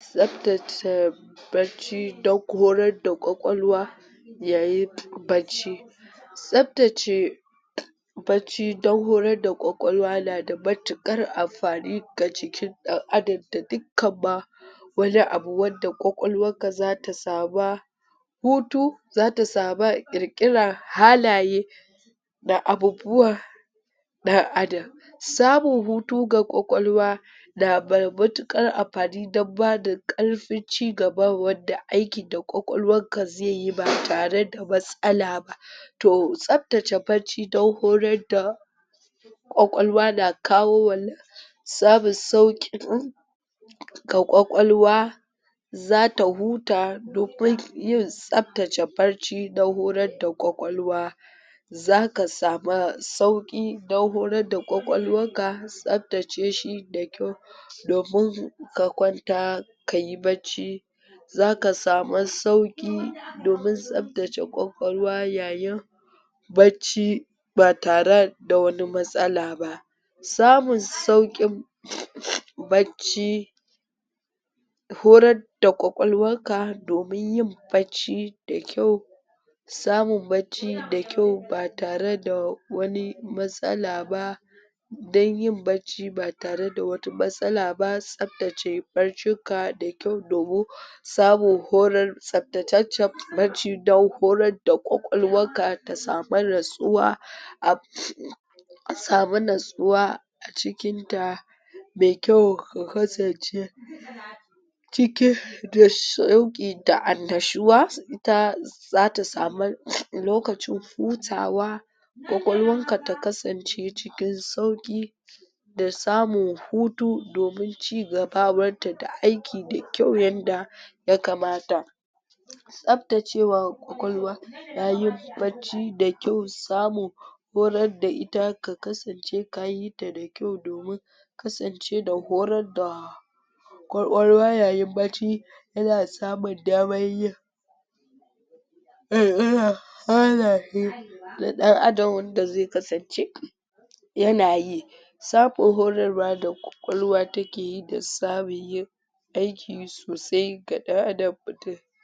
tsaftace barci da korar da kwakwalwa yayin barci tsaftace bacci dan horar da kwakwalwa nada matuƙar amfani ga jikin ɗan adam da dukkan ma wani abu wanda kwakwalwan ka zata sama hutu zata sama ƙirƙiran halaye da abubuwa ɗan adam. samun hutu ga kwakwalwa na da matuƙar amfani dan bada ƙarfin cigaba wanda aikin da ƙwaƙwalwanka zaiyi ba tare da matsala ba to tsaftace barci dan horar da kwakwalwa na kawo wannan samun sauƙin ga kwakwalwa zata huta domin yin tsaftace barci dan horar da kwakwalwa zaka sama sauƙi dan horar da kwakwalwar ka tsafta ce shi da kyau domin ka kwanta kayi bacci zaka sama sauƙi domin tsaftace kwakwalwa yayin bacci ba tare da wani matsala ba samun sauƙin bacci horar da kwakwalwanka domin yin bacci da kyau samun bacci da kyau ba tare da wani matsala ba dan yin bacci ba tareda wata matsala ba tsaftace barcin ka da kyau domin samun horar tsaftataccar barci dan horar da kwakwalwar ka ta samu natsuwa a samu natsuwa ca cikin ta mai kyau ka kasance cikin da shauƙi da annashuwa ita zata samu lokacin hutawa kwakwalwanka ta kasance cikin sauƙi da samun hutu domin cigabawan da aiki da kyau yanda ya kamata tsaftacewa kwakwalwa na yin bacci da kyau samun horar da ita ka kasance kayita da kyau domin kasance da horar da kwakwalwa yayin bacci yana samun daman yin na ɗan adamwanda zai kasance yanayi samun horar wa da kwakwalwa takeyi dan samun yin aiki sosai ga ɗan adam mutum.